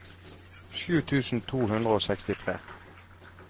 sju tusen to hundre og sekstitre